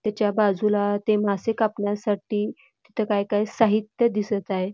त्याच्या बाजूला ते मासे कापण्यासाठी तिथे काय काय साहित्य दिसत आहे.